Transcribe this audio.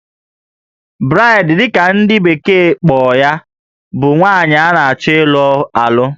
Bride' dị ka ndị bekee kpọrọ ya bụ nwaanyị a na-achọ ịlụ alụ